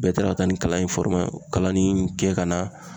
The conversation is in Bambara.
Bɛɛ taara ka taa ni kalan in kalanni kɛ ka na.